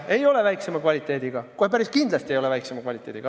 Ei ole kehvema kvaliteediga, kohe päris kindlasti ei ole kehvema kvaliteediga.